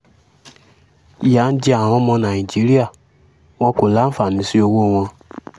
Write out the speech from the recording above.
ìyà ń jẹ àwọn ọmọ nàìjíríà wọn kò láǹfààní sí ọwọ́ wọn